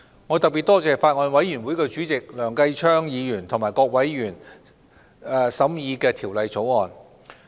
我特別多謝法案委員會主席梁繼昌議員和各委員審議《條例草案》。